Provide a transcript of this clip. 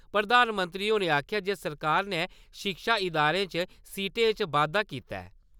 प्रधानमंत्री होरें आक्खेआ जे सरकार ने शिक्षा इदारें च सीटें इच बाद्दा कीता ऐ।